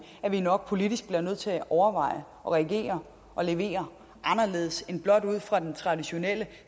at vi nok politisk bliver nødt til at overveje og regere og levere anderledes end blot ud fra den traditionelle